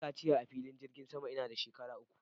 Na yi kaciya a filin jirgin sama ina da shekara uku